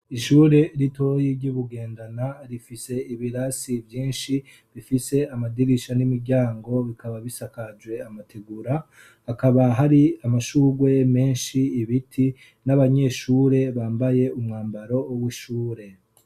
ishure ritoyi ry'ubugendana rifise ibirasi byinshi bifise amadirisha n'imiryango bikaba bisakajwe amategura hakaba hari amashugwe menshi ibiti n'abanyeshure bambaye umwambaro w'ishure